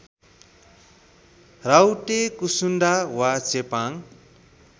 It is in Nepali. राउटे कुसुन्डा वा चेपाङ